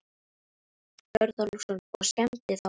Björn Þorláksson: Og skemmdi þá?